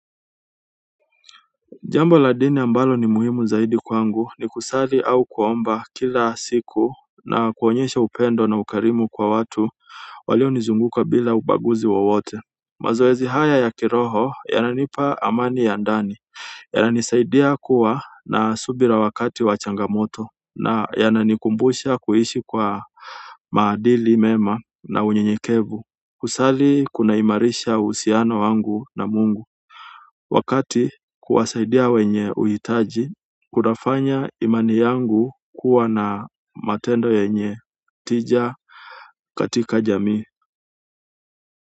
Jambo la dini ambalo ni muhimu zaidi kwangu ni kusali au kuomba kila siku na kuonyesha upendo na ukarimu kwa watu. Walionizunguka bila ubaguzi wowote. Mazoezi haya ya kiroho yananipa amani ya ndani, yananisaidia kuwa na subira wakati wa changamoto. Na yananikumbusha kuishi kwa maadili mema na unyenyekevu. Kusali kunaimarisha uhusiano wangu na Mungu. Wakati kuwasaidia wenye uhitaji. Kunafanya imani yangu kuwa na matendo yenye tija katika jamii.